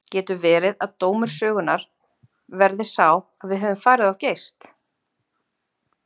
Getur verið að dómur sögunnar verði sá að við höfum farið of geyst?